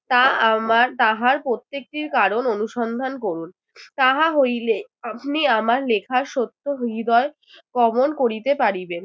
তা আমার তাহার প্রত্যেকটির কারণ অনুসন্ধান করুন। তাহা হইলে আপনি আমার লেখার সত্য হৃদয় করিতে পারিবে